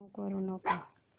remove करू नको